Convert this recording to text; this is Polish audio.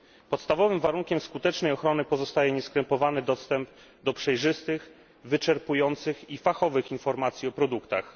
Podstawowym warunkiem skutecznej ochrony pozostaje nieskrępowany dostęp do przejrzystych, wyczerpujących i fachowych informacji o produktach.